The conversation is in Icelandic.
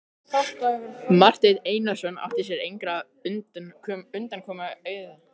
Marteinn Einarsson átti sér engrar undankomu auðið.